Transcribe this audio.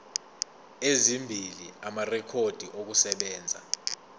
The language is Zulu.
ezimbili amarekhodi okusebenza